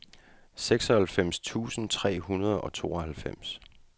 seksoghalvfems tusind tre hundrede og tooghalvfems